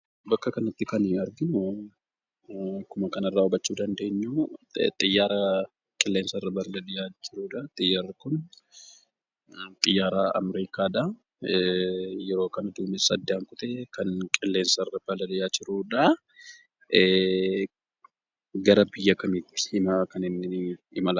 Bakka kanatti kan nuti arginu, akkuma kanarraa hubachuu dandeenyu, xiyyaara qilleensarra balali'aa jiruudha. Xiyyaarri kun xiyyaara Amerikaa dha. Yeroo kana duumessa addaan kutee kan qilleensarra balali'aa jiruudha. Gara biyya kamiitti kan inni imalaa jiru?